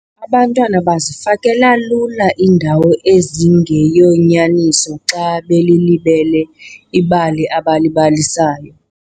Abantwana bazifakela lula iindawo ezingeyonyaniso xa belilibele ibali abalibalisayo.